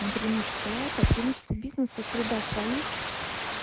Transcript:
ну преимущества лайта преимущества бизнеса среда своих